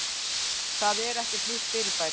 Það er ekkert nýtt fyrirbæri.